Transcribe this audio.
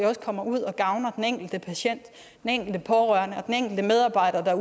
kommer ud og gavner den enkelte patient den enkelte pårørende og den enkelte medarbejder